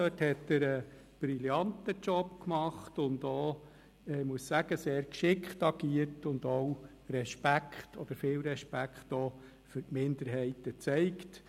Dort hat er einen brillanten Job gemacht, und er hat – ich muss es zugeben – auch sehr geschickt agiert und viel Respekt für Minderheiten gezeigt.